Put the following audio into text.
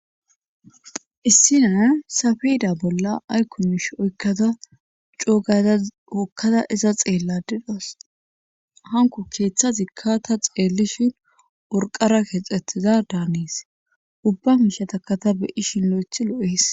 Issi naa safida bolla aykumish oykkada coogayza oykkada iza xeelladidos hanko keeththa zikka ta xeellishin worqara keexetiza daanis ubba mishataka ta beyishin lo'eth lo'es